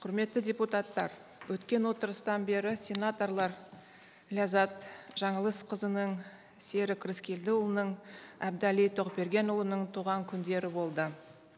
құрметті депутаттар өткен отырыстан бері сенаторлар ләззат жаңылысқызының серік рыскелдіұлының әбдәлі тоқбергенұлының туған күндері болды